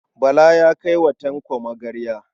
Bala ya kai wa Tanko magarya.